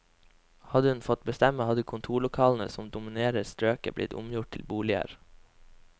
Hadde hun fått bestemme, hadde kontorlokalene som dominerer strøket blitt omgjort til boliger.